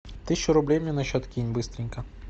тысячу рублей мне на счет кинь быстренько